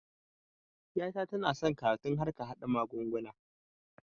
Ƴa ta tana son karatun harkan haɗa mugunguna